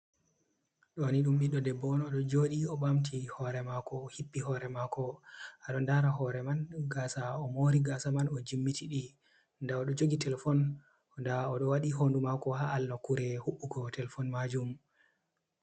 Ɗo ni ɗum ɓiɗɗo debbo on oɗo joɗi o bamti hore mako o hippi hore mako ado lara hore man gasa, o mori gasa man o jimmiti ɗi nda oɗo jogi telefon, nda oɗo waɗi hondu mako ha alla kure hubugo telefon majum.